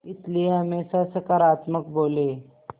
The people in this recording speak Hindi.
इसलिए हमेशा सकारात्मक बोलें